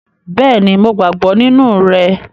Bẹ́ẹ̀ni, Mo gbàgbọ́ nínú rẹ̀